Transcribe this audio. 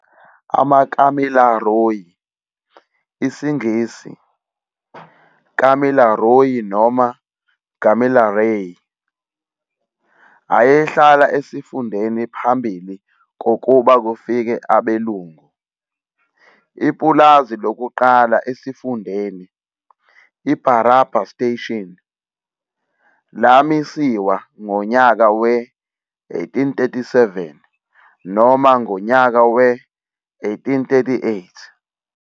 AmaKamilaroi, isiNgisi- Kamilaroi noma Gamileraay, ayehlala esifundeni phambili kokuba kufike abelungu. Ipulazi lokuqala esifundeni, iBarraba Station, lamisiwa ngonyaka we-1837 noma ngonyaka we-1838.